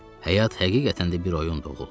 Həyat həqiqətən də bir oyundu, oğul.